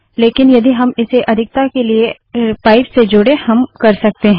लेकिन यदि हम इसे अधिकता के लिए पाइप से जोडें हम कर सकते हैं